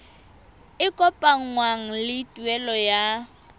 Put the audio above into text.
e kopanngwang le tuelo ya